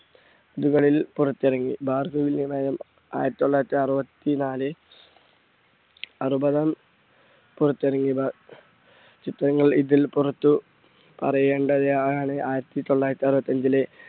ഇതുവരെയും പുറത്തിറങ്ങി. ഭാർഗവിനിലയം ആയിരത്തി തൊള്ളായിരത്തി അറുപത്തി നാല് അറുപതാം പുറത്തിറങ്ങി ചിത്രങ്ങൾ ഇതിൽ പുറത്തു പറയേണ്ട ആയിരത്തി തൊള്ളായിരത്തി അറുപത്തഞ്ചിലെ